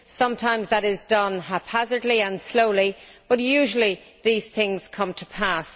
Sometimes that is done haphazardly and slowly, but usually these things come to pass.